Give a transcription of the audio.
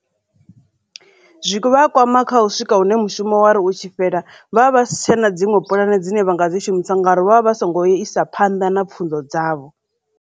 Zwivha kwama kha u swika hune mushumo wari u tshi fhela vha vha vha si tsha na dziṅwe pulane dzine vha nga dzi shumisa ngauri vha vha vha songo isa phanḓa na pfhunzo dzavho.